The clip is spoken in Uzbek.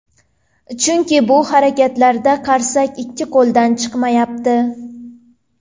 Chunki bu harakatlarda qarsak ikki qo‘ldan chiqmayapti.